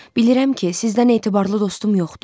Bilirəm ki, sizdən etibarlı dostum yoxdur.